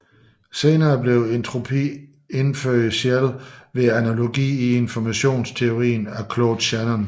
Senere blev entropi indført alene ved analogi i informationsteorien af Claude Shannon